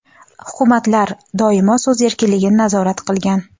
Hukumatlar doimo so‘z erkinligini nazorat qilgan.